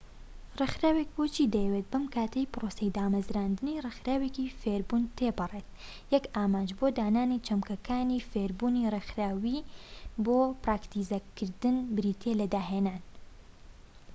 ڕێکخراوێک بۆچی دەیەوێت بەم کاتەی پرۆسەی دامەزراندنی ڕێکخراوێکی فێربوون تێپەڕێت یەک ئامانج بۆ دانانی چەمکەکانی فێربوونی ڕێکخراوەیی بۆ پراکتیزەکردن بریتیە لە داهێنان